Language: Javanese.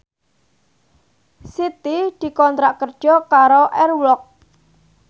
Siti dikontrak kerja karo Air Walk